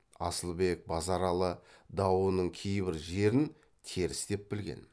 асылбек базаралы дауының кейбір жерін теріс деп білген